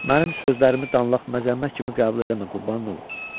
Mənim sözlərimi danlaq, məzəmmət kimi qəbul eləmə, qurbanın olum.